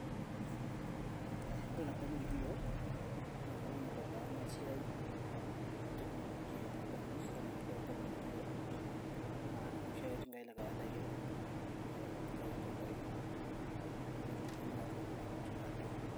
ee ore tenkop nikitii yiok naa keton eitu ebaya ena siai e teknolojia nabanji keton eitu ebau enkop nikitii yiok aa iloshi ake tingai le kawaida kiata ooturr ake ilchambai netumokini naa aatun baadaye.